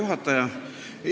Hea juhataja!